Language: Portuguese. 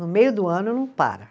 No meio do ano, não para.